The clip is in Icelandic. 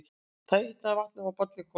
Þá hitnar vatnið og bollinn kólnar.